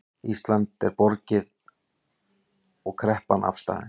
Íslandi er borgið og kreppan afstaðin